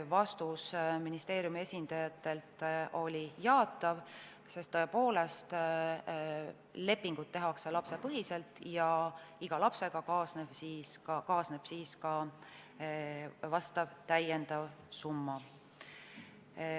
Vastus ministeeriumi esindajatelt oli jaatav, sest tõepoolest, lepingud tehakse lapsepõhiselt ja iga lapsega kaasneb täiendav summa.